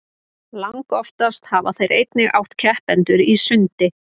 langoftast hafa þeir einnig átt keppendur í sundi